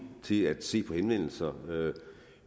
til at se på henvendelser